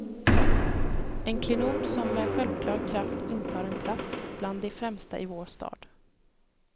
En klenod som med självklar kraft intar en plats bland de främsta i vår stad.